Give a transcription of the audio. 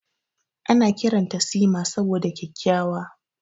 Ana kiranta Sima saboda kyakkyawa.